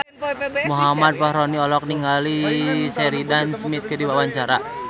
Muhammad Fachroni olohok ningali Sheridan Smith keur diwawancara